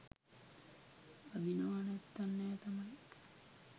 අඳිනව නැත්තං නෑ තමයි